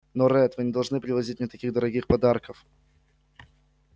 но ретт вы не должны привозить мне таких дорогих подарков